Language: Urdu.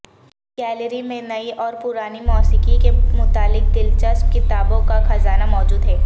گیلری میں نئی اور پرانی موسیقی کے متعلق دلچسپ کتابوں کا خزانہ موجود ہے